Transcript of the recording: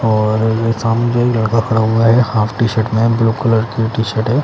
और सामने एक लड़का खड़ा हुआ है। हॉफ टी_शर्ट में ब्लू कलर की टी_शर्ट है।